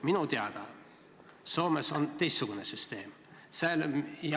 Minu teada on Soomes teistsugune süsteem.